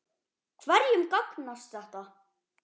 Hverjum gagnast þetta?